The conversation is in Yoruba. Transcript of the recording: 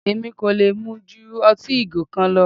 Èmi kò lè mu ju ọtí ìgò kan lọ.